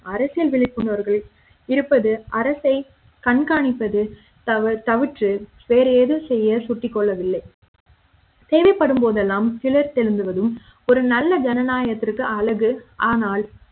அரசியல் விழிப்பு வர்கள் இருப்பது அரசை கண்காணிப்பது தவ தவிற்றுவேறு ஏது செய்ய சுட்டி கொள்ளவில்லை தேவைப்படும் போதெல்லாம் கிளர்தெழுவதும் ஒரு நல்ல ஜனநாயக த்துக்கு அழகு ஆனால்